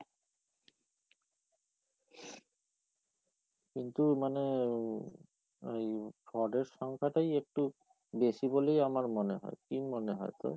কিন্তু মানে, ওই fraud এর সংখ্যাটাই একটু বেশি বলেই আমার মনে হয়। কি মনে হয় তোর?